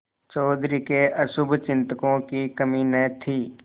चौधरी के अशुभचिंतकों की कमी न थी